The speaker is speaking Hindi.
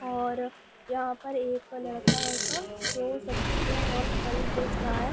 और यहाँ पर एक लड़का हैगा जो सब्जियाँ और फल बेच रहा है।